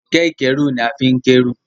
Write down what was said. Kẹ̀kẹ́ ìkẹ́rù ní a fín k'ẹru.